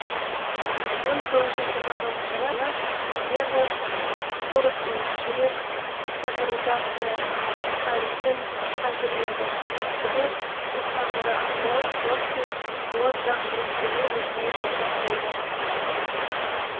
мың тоғыз жүз жиырма тоғызыншы жылы вернер фросман жүрек катетеризациясы әдісін әзірледі білек көктамыры арқылы зондпен оң жақ жүрекшеге өзіне жасап көрді